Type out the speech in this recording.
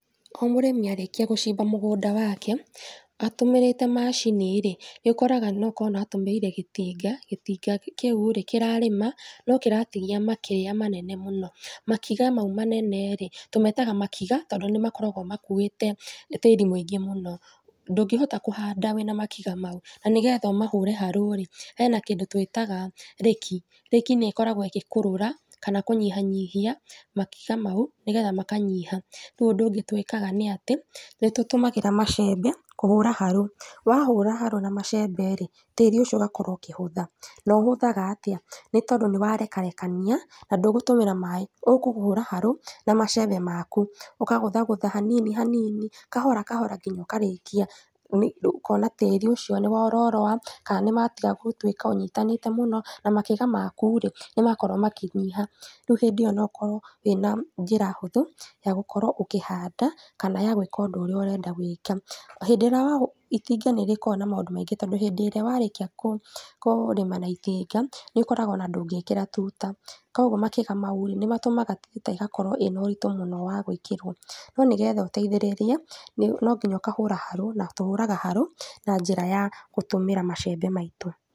O mũrĩmi arĩkia gũcimba mũgũnda wake, atũmĩrĩte macini rĩ, nĩũkoraga noko nĩ aratũmĩire gĩtĩnga, gĩtinga kĩu rĩ, kĩrarĩma no kĩratigia makĩrĩa manene mũno. Makiga mau manene rĩ, tũmetaga makiga tondũ nĩmakoragwo makuĩte tĩri mũingĩ mũno. Ndũngĩhota kũhanda wĩna makiga mau. Na nĩgetha ũmahũre harũ rĩ, hena kindũ twĩtaga reki, reki nĩkoragwo ĩgĩkũrũra kana kũnyihanyihia makiga mau, nĩgetha makanyiha. Rĩu ũndũ twĩkaga nĩatĩ, nĩtũtũmagĩra macembe kũhũra harũ. Wahũra harũ na macembe rĩ, tĩri ũcio ũgakorwo ũkĩhũtha. Na ũhũthaga atĩa? Nĩtondũ nĩwarekarekania, na ndũgũtũmĩra maĩ, ũkũhũra harũ na macembe maku. Ũkagũthagũtha hanini hanini, kahora kahora nginya ũkarĩkia, ũkona tĩri ũcio nĩwororoa, kanĩmatiga gũtuĩka ũnyitanĩte mũno, na makiga maku rĩ, nĩmakorwo makĩnyiha. Rĩu hĩndĩ ĩyo no ũkorwo wĩna njĩra hũthũ ya gũkorwo ũkĩhanda, kana gwĩka ũndũ ũrĩa ũrenda gwĩka. Hĩndĩ ĩrĩa itinga nĩrĩkoragwo na maũndũ maingĩ, tondũ hindĩ ĩria warĩkia kũrĩma na itinga, nĩũkoraga ona ndũngĩkĩra tuta. Koguo makiga mau rĩ, nĩmatũmaga tuta ĩgakorwo ĩna ũritũ mũno wa gwĩkĩrwo. No nĩgetha ũteithĩrĩrie, nonginya ũkahũra harũ, na tũhũraga harũ na njĩra ya gũtũmĩra macembe maitũ.